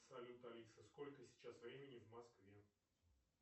салют алиса сколько сейчас времени в москве